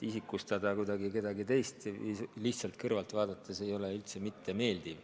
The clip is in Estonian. Hinnata kedagi teist lihtsalt kõrvalt vaadates ei ole üldse mitte meeldiv.